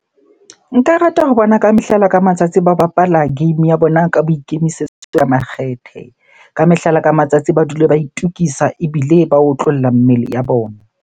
Nka rata ho bona ka mehla le ka matsatsi ba ho bapala game ya bona ka ka makgethe. Ka mehla le ka matsatsi ba dule ba itokisa ebile ba otlolla mmele ya bona.